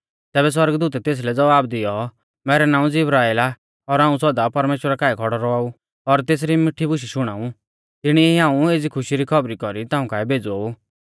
तैबै सौरगदूतै तेसलै ज़वाब दैऔ मैरौ नाऊं ज़िब्राइल आ और हाऊं सौदा परमेश्‍वरा काऐ खौड़ौ रौआऊ और तेसरी मिठी बुशै शुणाऊ तिणीऐ ई हाऊं एज़ी खुशी री खौबरी कौरी ताऊं काऐ भेज़ौ ऊ